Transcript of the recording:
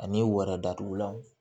Ani wara datugulanw